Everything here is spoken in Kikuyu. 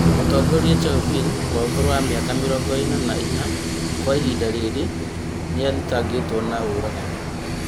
Mũtongoria Chauvin wa ũkũrũ wa mĩaka mĩrongo ĩna na inya, Kwa ihinda rĩrĩ nĩathitangĩtwo na ũragani?